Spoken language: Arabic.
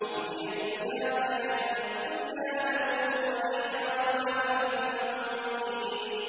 إِنْ هِيَ إِلَّا حَيَاتُنَا الدُّنْيَا نَمُوتُ وَنَحْيَا وَمَا نَحْنُ بِمَبْعُوثِينَ